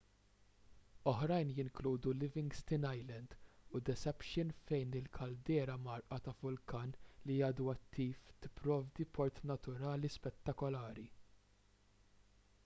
oħrajn jinkludu livingston island u deception fejn il-kaldera mgħarrqa ta' vulkan li għadu attiv tipprovdi port naturali spettakolari